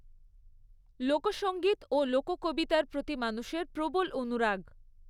লোকসঙ্গীত ও লোককবিতার প্রতি মানুষের প্রবল অনুরাগ।